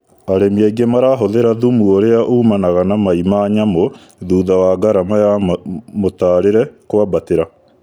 Arĩmi aingĩ marahũthĩra thumu ũrĩa umanaga na mai ma nyamũ thutha wa ngarama ya mũtarĩre kwambatĩra